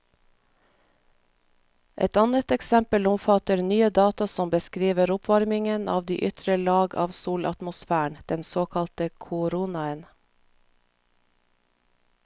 Et annet eksempel omfatter nye data som beskriver oppvarmingen av de ytre lag av solatmosfæren, den såkalte koronaen.